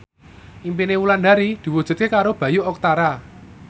impine Wulandari diwujudke karo Bayu Octara